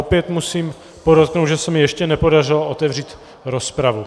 Opět musím podotknout, že se mi ještě nepodařilo otevřít rozpravu.